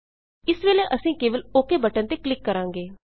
ਇਸ ਵੇਲੇ ਅਸੀਂ ਕੇਵਲ ਓਕ ਬਟਨ ਤੇ ਕਲਿੱਕ ਕਰਾਂਗੇ